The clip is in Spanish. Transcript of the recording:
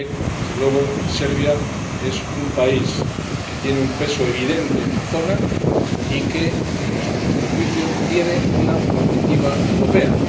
Así que, desde luego, Serbia es un país que tiene un peso evidente en la zona y que, a nuestro juicio, tiene una perspectiva europea.